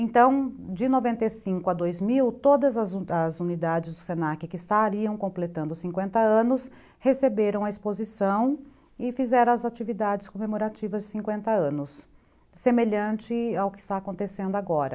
Então, de noventa e cinco a dois mil, todas as as unidades do se na que estariam completando cinquenta anos, receberam a exposição e fizeram as atividades comemorativas de cinquenta anos, semelhante ao que está acontecendo agora.